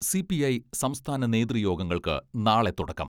C P I സംസ്ഥാന നേതൃ യോഗങ്ങൾക്ക് നാളെ തുടക്കം.